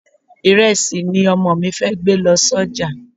Ìrẹsì ni Ọmọ mi fẹ́ gbé lọ sọ́jà.